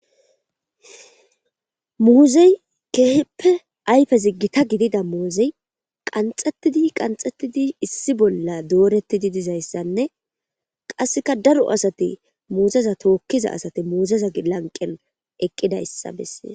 muuzey keeheppe ayfe ziggita gidida moozey qanxettidi qanxettidi issi bolla doorettidi dizayssanne qasseka daro asati muuzeza tookkiza asati muuzeza lanqen eqqidayssa bessees